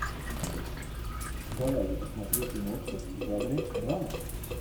давай я посмотрю киношку в жанре драма